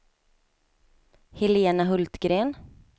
Helena Hultgren